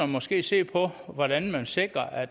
måske se på hvordan man sikrer at